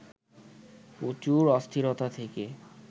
প্রচুর অস্থিরতা থেকে